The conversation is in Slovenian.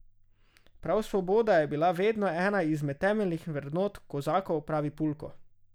Prav svoboda je bila vedno ena izmed temeljnih vrednot kozakov, pravi Pulko.